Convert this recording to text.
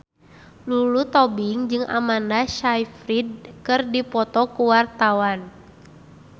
Lulu Tobing jeung Amanda Sayfried keur dipoto ku wartawan